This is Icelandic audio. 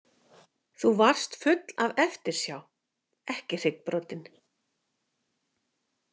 Þú varst full af eftirsjá, ekki hryggbrotin.